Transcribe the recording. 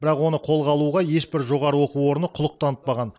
бірақ оны қолға алуға ешбір жоғарғы оқу орны құлық танытпаған